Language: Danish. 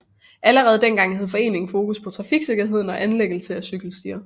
Allerede dengang havde foreningen fokus på trafiksikkerhed og anlæggelse af cykelstier